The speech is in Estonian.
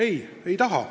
Ei, ei taha.